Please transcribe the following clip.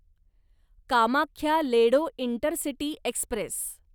Kamakhya Ledo intercity Express